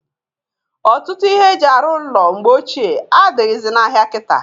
Ọtụtụ ihe e ji arụ ụnọ mgbe ochie adịghịzị n'ahịa kita.